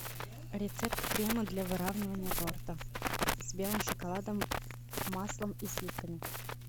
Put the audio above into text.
рецепт крема для выравнивания торта с белым шоколадом маслом и сливками